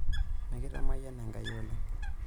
Mikitamayiana Enkai oleng'.